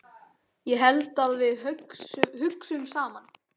Ég held að við hugsum saman.